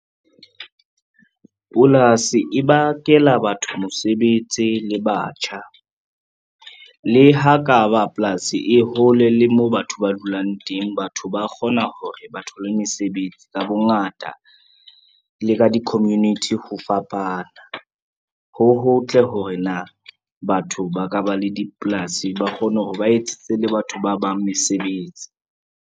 Polasi e bakela batho mosebetsi le batjha, le ha ka ba polasi e hole le moo batho ba dulang teng batho ba kgona hore ba thole mesebetsi ka bongata le ka di-community ho fapana. Ho hotle hore na batho ba ka ba le dipolasi ba kgone hore ba etsetse le batho ba bang mesebetsi.